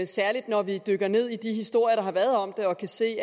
særlig når vi dykker ned i de historier der har været om det og kan se